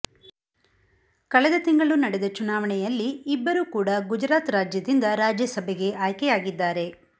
ಕಳೆದ ತಿಂಗಳು ನಡೆದ ಚುನಾವಣೆಯಲ್ಲಿ ಇಬ್ಬರು ಕೂಡಾ ಗುಜರಾತ್ ರಾಜ್ಯದಿಂದ ರಾಜ್ಯಸಭೆಗೆ ಆಯ್ಕೆಯಾಗಿದ್ದಾರೆ